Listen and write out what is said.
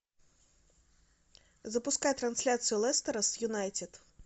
запускай трансляцию лестера с юнайтед